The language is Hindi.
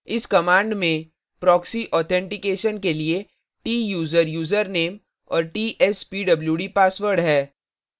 इस command में proxy authentication के लिए tsuser यूजरनेम और tspwd password है